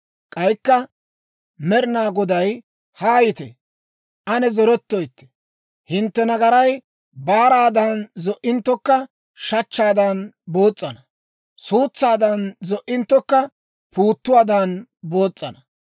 K'aykka Med'inaa Goday, «Haayite; ane zorettoytte. Hintte nagaray baaraadan zo"inttokka, shachchaadan boos's'ana; suutsaadan zo"inttokka, puuttuwaadan boos's'ana.